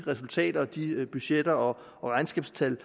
resultaterne budgetterne og regnskabstallene